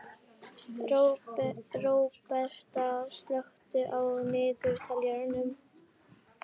Róberta, slökktu á niðurteljaranum.